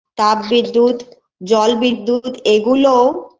তাপ বিদ্যুৎ জল বিদ্যুৎ এগুলোও